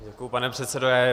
Děkuji, pane předsedo.